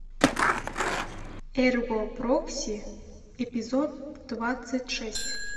эрго прокси эпизод двадцать шесть